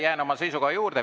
Jään oma seisukoha juurde.